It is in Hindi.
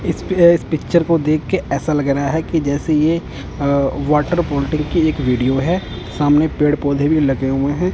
इसपे इस पिक्चर को देखके ऐसा लग रहा है कि जैसे ये वाटर बॉडिंग की एक वीडियो है सामने पेड़ पौधे भी लगे हुए हैं।